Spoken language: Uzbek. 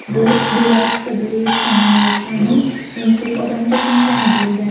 Bu Belarusda bo‘layotgan namoyishlarning eng ko‘p odam to‘plangani bo‘ldi.